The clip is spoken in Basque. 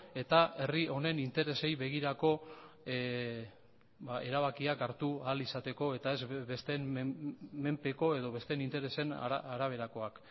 eta herri honen interesei begirako erabakiak hartu ahal izateko eta ez besteen menpeko edo besteen interesen araberakoak